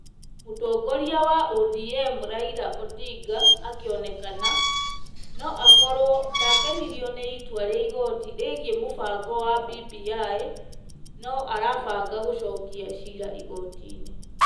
Mũtongoria wa ODM Raila Odinga (akĩonekana) no akorwo ndakenirio nĩ itua rĩa igoti rĩgiĩ mũbango wa BBI, no arabanga gũcokia ciira igoti-nĩ.